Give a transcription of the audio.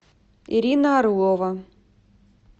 ирина орлова